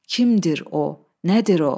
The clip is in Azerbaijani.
Kimdir o, nədir o?